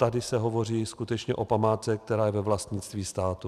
Tady se hovoří skutečně o památce, která je ve vlastnictví státu.